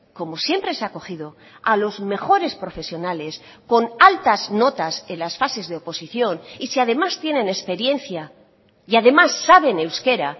como siempre se ha cogido a los mejores profesionales con altas notas en las fases de oposición y si además tienen experiencia y además saben euskera